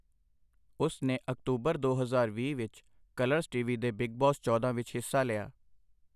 ਉਸ ਨੇ ਅਕਤੂਬਰ ਦੋ ਹਜ਼ਾਰ ਵੀਹ ਵਿੱਚ, ਕਲਰਜ਼ ਟੀਵੀ ਦੇ ਬਿੱਗ ਬੌਸ ਚੌਦਾਂ ਵਿੱਚ ਹਿੱਸਾ ਲਿਆ।